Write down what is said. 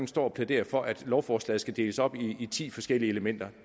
står og plæderer for at et lovforslag skal deles op i ti forskellige elementer